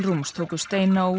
rúms tóku steina og